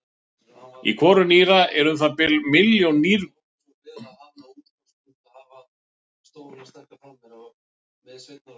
Í hvoru nýra eru um það bil ein milljón nýrunga.